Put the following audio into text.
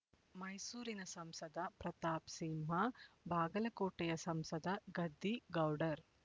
ಮೈಸೂರಿನ ಸಂಸದ ಪ್ರತಾಪ್ ಸಿಂಹ ಬಾಗಲಕೋಟೆಯ ಸಂಸದ ಗದ್ದಿಗೌಡರ್